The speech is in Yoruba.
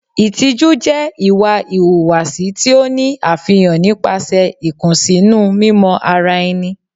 Ìtìjú jẹ́ ìwà ìhùwàsí tí ó ní àfihàn nípasẹ̀ ìkùnsínú mímọ ara ẹni.